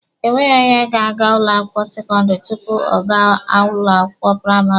Enweghị onye ga-aga ụlọ akwụkwọ sekọndịrị tupu ọ gaa ụlọ akwụkwọ praịmarị.